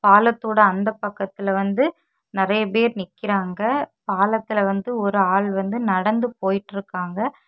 பாலத்தோட அந்த பக்கத்துல வந்து நெறைய பேரு நிக்கிறாங்க பாலத்துல வந்து ஒரு ஆளு வந்து நடந்து போயிட்டுருக்காங்க.